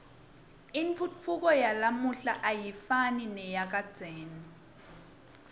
intfutfuko yalamuhla ayifani neyakadzeni